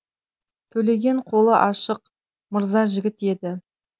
төлеген қолы ашық мырза жігіт еді